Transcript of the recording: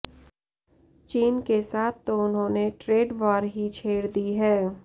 चीन के साथ तो उन्होंने ट्रेड वॉर ही छेड़ दी है